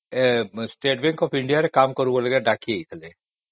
state bank of India ରେ କାମ କରିବା ପାଇଁ ଡାକିଥିଲେ